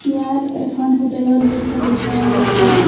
ইয়াত এখন হোটেল ৰ দৃশ্য দেখুওৱা হৈছে।